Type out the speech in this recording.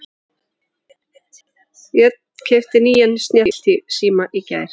Ég tala dönsku og frönsku.